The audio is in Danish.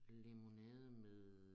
Limonade med